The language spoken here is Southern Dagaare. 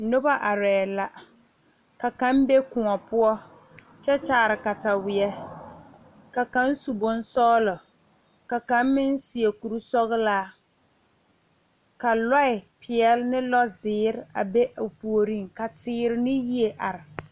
Nobɔ arɛɛ la ka kaŋ be kõɔ poɔ kyɛ kyaare katawie ka kaŋ su bonsɔglɔ ka kaŋ meŋ seɛ kurisɔglaa ka lɔɛ peɛle ne lɔzeere a be o puoriŋ ka teere ne yie are.